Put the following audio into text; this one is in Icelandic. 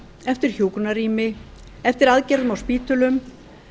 eftir hjúkrunarrými eftir aðgerðum á spítölum